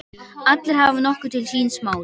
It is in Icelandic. Allir hafa nokkuð til síns máls.